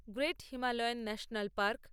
great Himalayan national park